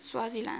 swaziland